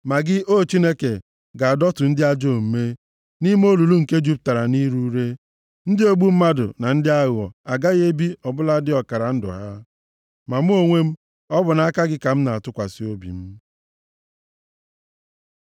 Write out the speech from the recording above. Ma gị, O Chineke, ga-adọtu ndị ajọ omume nʼime olulu nke jupụtara nʼire ure; ndị ogbu mmadụ na ndị aghụghọ agaghị ebi ọ bụladị ọkara ndụ ha. Ma mụ onwe m, ọ bụ na gị ka m na-atụkwasị obi m.